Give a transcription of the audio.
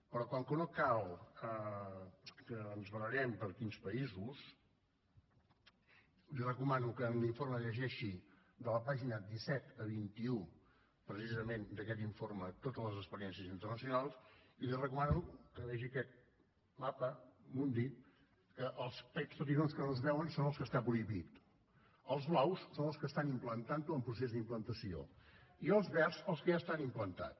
però com que no cal que ens barallem per quins països li recomano que en l’informe llegeixi de la pàgina disset a la vint un precisament d’aquest informe totes les experiències internacionals i li recomano que vegi aquest mapamundi en què aquests petitons que no es veuen són en els que està prohibit els blaus són en els que estan implantant ho o en procés d’implantació i els verds en els que ja està implantat